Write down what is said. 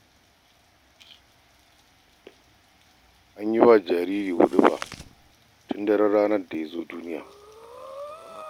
An yi wa jariri huɗuba tun a daran ranar da ya zo duniya.